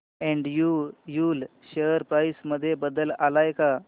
Andrew Yule share price मध्ये बदल आलाय का